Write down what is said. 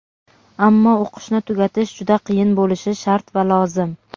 Ammo o‘qishni tugatish juda qiyin bo‘lishi shart va lozim.